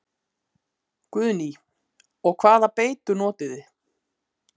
Guðný: Og hvaða beitu notið þið?